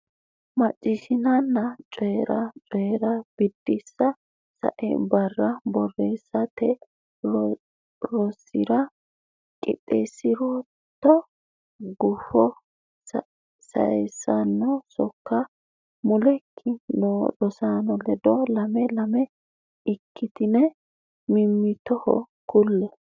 Macciishshanna Coyi’ra: Coyi’ra Biddissa Sai barra borreessate rosira qixxeessi’rootto gufo sayissanno sokka mulekki noo rosaano ledo lame lame ikkitine mimmitoho kulle.